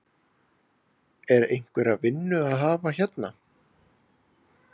Er einhverja vinnu að hafa hérna?